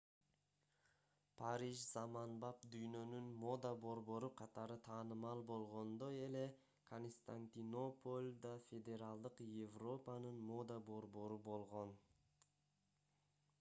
париж заманбап дүйнөнүн мода борбору катары таанымал болгондой эле константинополь да феодалдык европанын мода борбору болгон